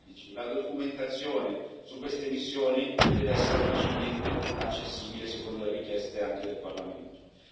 2016. La documentazione su queste missioni deve essere facilmente accessibile, secondo le richieste del Parlamento stesso